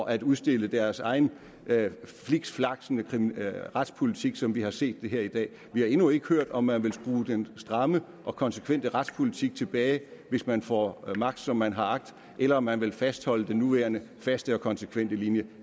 at udstille deres egen flikflakkende retspolitik som vi har set det her i dag vi har endnu ikke hørt om man vil skrue den stramme og konsekvente retspolitik tilbage hvis man får magt som man har agt eller om man vil fastholde den nuværende faste og konsekvente linje